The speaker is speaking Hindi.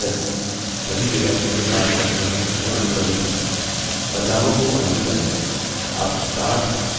यह तरकीब सभी data के लिए कार्य करती है जो अनुक्रमिक हैं बदलावों को undo करें